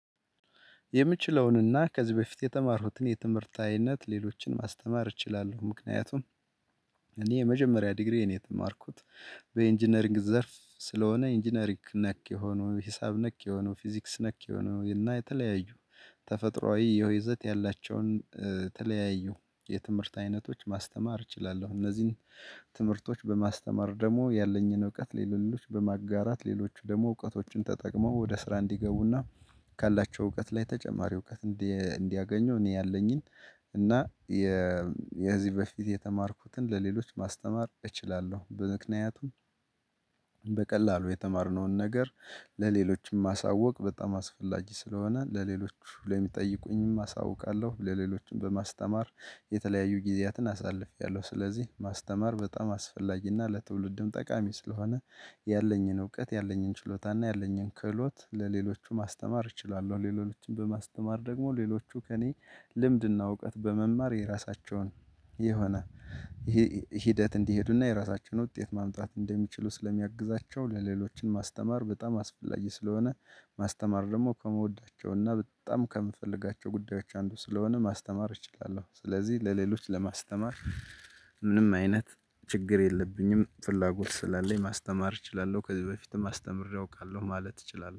የምችለውንና ከዚህ በፊት የተማርኩትን የትምህርታዊነት ሌሎችን ማስተማር እችላለሁ ምክንያቱም። እኔ የመጀመሪያ ዲግሪዬን የተማርኩት በኢንጂነሪንግ ዘርፍ ስለሆነ ኢንጂነሪክ ነክ የሆነው ሂሳብ ነክ የሆኑ ፊዚክስ ነክ የሆኑ እና የተለያዩ ተፈጥሮአዊ የውይዘት ያላቸውን ተለያዩ የትምህርት አይነቶች ማስተማር እችላለሁ። እነዚህን ትምህርቶች በማስተማር ደግሞ ያለኝን እውቀት ለሌሎች በማጋራት ሌሎች ደግሞ እውቀቶችን ተጠቅመው ወደ ስራ እንዲገቡና ካላቸው እውቀት ላይ ተጨማሪ እውቀት። እንዲያገኘው እኔ ያለኝን እና የዚህ በፊት የተማርኩትን ለሌሎች ማስተማር እችላለሁ። በምክንያቱም በቀላሉ የተማርነውን ነገር ለሌሎችም ማሳወቅ በጣም አስፈላጊ ስለሆነ ለሌሎች ለሚጠይቁኝም አሳውቃለሁ። ለሌሎችም በማስተማር የተለያዩ ጊዜያትን አሳልፌያለሁ። ስለዚህ ማስተማር በጣም አስፈላጊና ለትውልድም ጠቃሚ ስለሆነ ያለኝን እውቀት ያለኝን ችሎታና ያለኝን ክህሎት ለሌሎቹም ማስተማር እችላለሁ። ሌሎችን በማስተማር ደግሞ ሌሎቹ ከእኔ ልምድና እውቀት በመማር የራሳቸውን የሆነ ሂደት እንዲሄዱና የራሳቸውን ውጤት ማምጣት እንደሚችሉ ስለሚያግዛቸው ለሌሎችን ማስተማር በጣም አስፈላጊ ስለሆነ። ማስተማር ደግሞ ከመወዳቸውና በጣም ከምፈልጋቸው ጉዳዮች አንዱ ስለሆነ ማስተማር እችላለሁ። ስለዚህ ለሌሎች ለማስተማር ምንም አይነት ችግር የለብኝም ፍላጎት ስላለኝ ማስተማር እችላለሁ። ከዚህ በፊትም አስተምሬ አውቃለሁ ማለት እችላለሁ